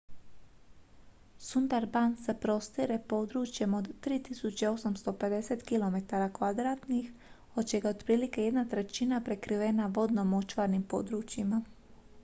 sundarbans se prostire područjem od 3.850 km² od čega je otprilike jedna trećina prekrivena vodno-močvarnim područjima